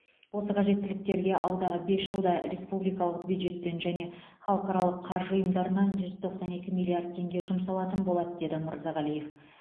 осы қажеттіліктерге алдағы бес жылда республикалық бюджеттен және халықаралық қаржы ұйымдарынан жүз тоқсан екі миллиард теңге жұмсалатын болады деді мырзағалиев